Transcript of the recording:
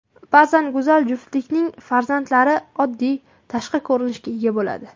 Ba’zan go‘zal juftlikning farzandlari oddiy tashqi ko‘rinishga ega bo‘ladi.